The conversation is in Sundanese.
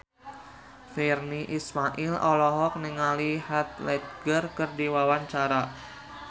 Virnie Ismail olohok ningali Heath Ledger keur diwawancara